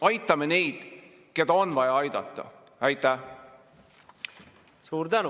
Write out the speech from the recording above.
Aitame neid, keda on vaja aidata!